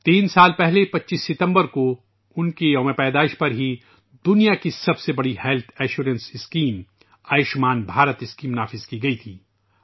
تین سال پہلے ، 25 ستمبر کو ، ان کی سالگرہ کے موقع پرہی دنیا کی سب سے بڑی health insurance scheme Ayushman Bharat Yojana نافذ کی گئی تھی